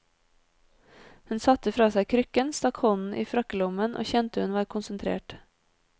Hun satte fra seg krykken, stakk hånden i frakkelommen, og kjente hun var konsentrert.